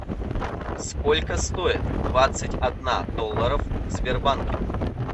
сколько стоит двадцать одна долларов в сбербанке